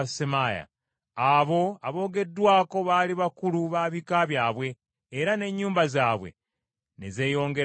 Abo aboogeddwako baali bakulu ba bika byabwe. Ennyumba zaabwe ne zeeyongera nnyo.